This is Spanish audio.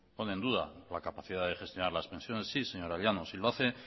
pone en duda la capacidad de gestionar las pensiones sí señora llanos y lo hace